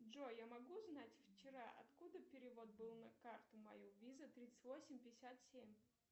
джой я могу узнать вчера откуда перевод был на карту мою виза тридцать восемь пятьдесят семь